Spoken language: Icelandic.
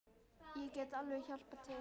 Ég get alveg hjálpað til.